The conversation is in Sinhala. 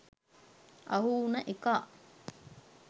අහු උන එකා